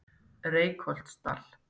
Reykholtsdal